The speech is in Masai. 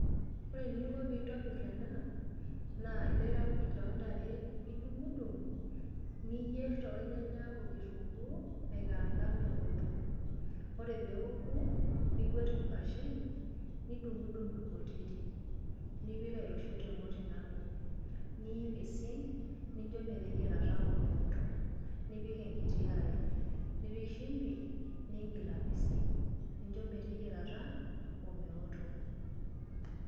Ore eninko pee intobirr ena naa ilaikuj loontare edungdung, niyier too nyanya okitunguu, aikaraanka meotok. Ore pee eouku, niguet inkuashen, nidungdung inkutiti, nipik aitushul temoti nabo. Nipisink ninjo meteyiarata omeotok, nipik enkiti are, nipik shimbi niigil apisink, ninjo meteyiarata omeotok.